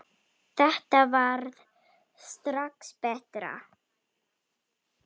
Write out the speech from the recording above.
Þetta varð strax betra.